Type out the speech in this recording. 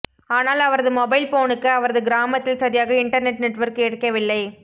ஆனால் அவரது மொபைல் போனுக்கு அவரது கிராமத்தில் சரியாக இன்டர்நெட் நெட்வொர்க் கிடைக்கவில்லை